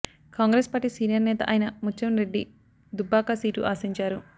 Congress party senior నేత అయిన Mutyam Reddy Dubbaka seat ఆశించారు